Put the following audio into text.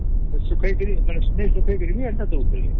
ସୁଖେଇକିରି ବି ଦଉଥିଲେ